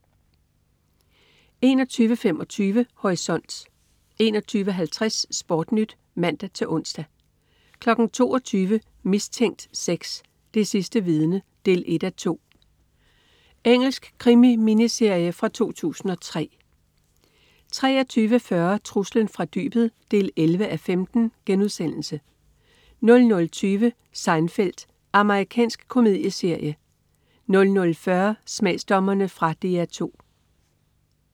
21.25 Horisont 21.50 SportNyt (man-ons) 22.00 Mistænkt 6: Det sidste vidne 1:2. Engelsk krimi-miniserie fra 2003 23.40 Truslen fra dybet 11:15* 00.20 Seinfeld. Amerikansk komedieserie 00.40 Smagsdommerne. Fra DR 2